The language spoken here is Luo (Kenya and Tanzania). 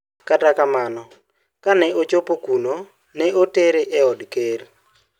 Kata kamano, kane ochopo kuno, ne otere e od ker.